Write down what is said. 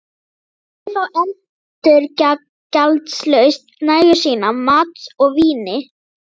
Allir fá endurgjaldslaust nægju sína af mat og víni.